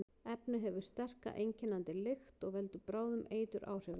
Efnið hefur sterka, einkennandi lykt og veldur bráðum eituráhrifum.